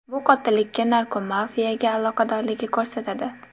Bu qotillikka narkomafiya aloqadorligini ko‘rsatadi.